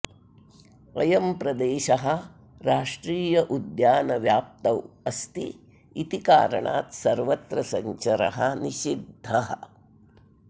अयं प्रदेशः राष्ट्रियोद्यानव्याप्तौ अस्ति इति कारणात् सर्वत्र सञ्चरः निषिद्धः